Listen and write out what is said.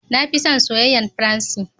Na fi son soyayen fransi.